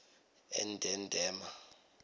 endedema